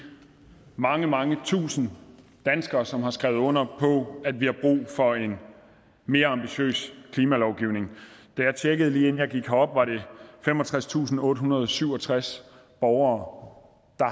mange mange tusind danskere som har skrevet under på at vi har brug for en mere ambitiøs klimalovgivning da jeg tjekkede det lige inden jeg gik herop var det femogtredstusinde og ottehundrede og syvogtreds borgere der